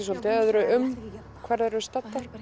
svolítið öðru um hvar þær eru staddar